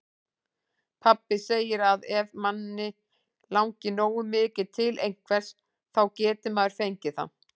Pabbi segir að ef mann langi nógu mikið til einhvers, þá geti maður fengið það.